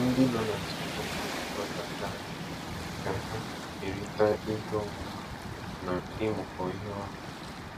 Ndị nọ na Nsukka na-ezukọtakarị ka ha kerịta ihe ọmụma na ịmụkọ ihe ọnụ.